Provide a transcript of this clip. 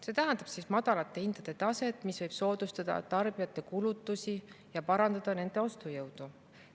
See tähendab madalate hindade taset, mis võib soodustada tarbijate kulutusi ja parandada nende ostujõudu.